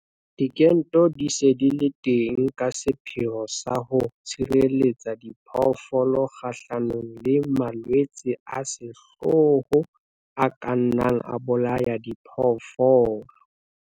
Dikento di se di le teng ka sepheo sa ho tshireletsa diphoofolo kgahlanong le malwetse a sehlooho a ka nnang a bolaya diphoofolo.